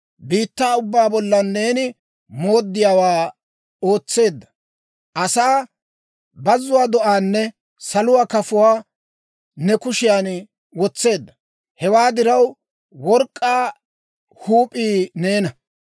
Biittaa ubbaa bollan neena mooddiyaawaa ootseedda; asaa, bazzuwaa do'aanne saluwaa kafuwaa ne kushiyan wotseedda. Hewaa diraw, work'k'aa huup'ii neena.